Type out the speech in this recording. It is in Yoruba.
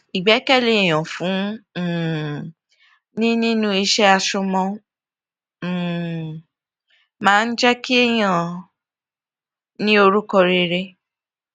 ìgbékèlé èyàn fun um ni nínú iṣé àsomọ máa um ń jé kéèyàn ní orúkọ rere